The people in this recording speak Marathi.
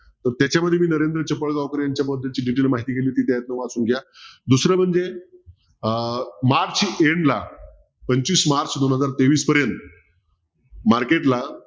तर त्याच्या मध्ये नरेंद्र चिपळगावकर यांच्या बद्दल detail माहिती लिहिली होती ती एकदा वाचून घ्या दुसरं म्हणजे अह मार्च end ला पंचवीस मार्च दोन हजार तेवीस पर्यंत market ला